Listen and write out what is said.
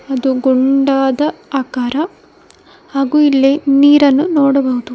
ಅದು ಗುಂಡಾದ ಆಕಾರ ಹಾಗೂ ಇಲ್ಲಿ ನೀರನ್ನು ನೋಡುವುದು.